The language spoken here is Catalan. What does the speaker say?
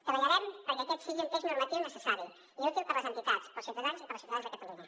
treballarem perquè aquest sigui un text normatiu necessari i útil per a les entitats per als ciutadans i per a les ciutadanes de catalunya